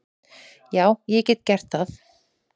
Já, ég get gert það.